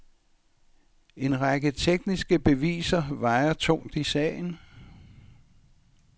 En række tekniske beviser vejer tungt i sagen.